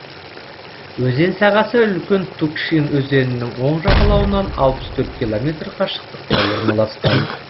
өзен сағасы үлкен тукшин өзенінің оң жағалауынан алпыс төрт километр қашықтықта орналасқан